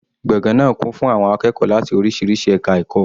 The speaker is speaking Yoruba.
Gbọ̀ngàn náà kún fún àwọn akẹ́kọ̀ọ́ láti oríṣiríṣi ẹka ẹ̀kọ́.